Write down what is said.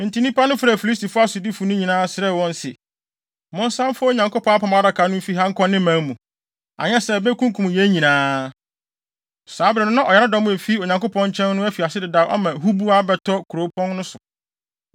Enti nnipa no frɛɛ Filistifo asodifo no nyinaa, srɛɛ wɔn se, “Monsan mfa Onyankopɔn Apam Adaka no mfi ha nkɔ ne man mu, anyɛ saa a, ebekunkum yɛn nyinaa.” Saa bere no na ɔyaredɔm a efi Onyankopɔn nkyɛn no afi ase dedaw ama huboa abɛtɔ kuropɔn no so.